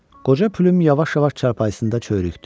Qoca plyum yavaş-yavaş çarpayısında çörükdü.